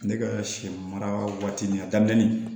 Ne ka sɛ mara waati nin a daminɛ ni